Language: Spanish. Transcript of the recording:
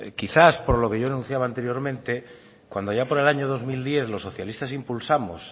quizás por lo que yo anunciaba anteriormente cuando allá por el año dos mil diez los socialistas impulsamos